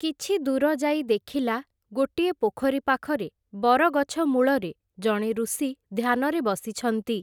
କିଛିଦୂର ଯାଇ ଦେଖିଲା, ଗୋଟିଏ ପୋଖରୀ ପାଖରେ, ବରଗଛ ମୂଳରେ ଜଣେ ଋଷି ଧ୍ୟାନରେ ବସିଛନ୍ତି ।